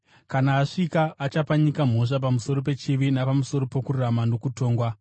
Kana asvika achapa nyika mhosva pamusoro pechivi napamusoro pokururama nokutongwa: